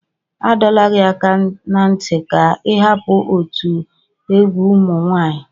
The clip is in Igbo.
Adọla gị aka na ntị ka ị hapụ otu egwu ụmụ nwanyị.